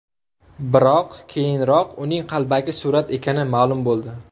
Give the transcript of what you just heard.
Biroq, keyinroq uning qalbaki surat ekani ma’lum bo‘ldi.